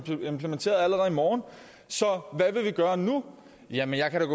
implementeret allerede i morgen så hvad vil vi gøre nu jamen jeg kan